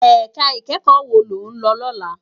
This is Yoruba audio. Èká ikèékò wó ló n lò lòlá?